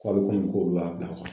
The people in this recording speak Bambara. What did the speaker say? Ko hali kunu k'olu y'a bila